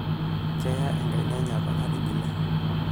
Keya enkaiana enye apa natigile.